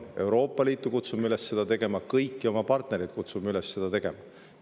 Kutsume Euroopa Liitu üles seda tegema, kutsume kõiki oma partnereid üles seda tegema.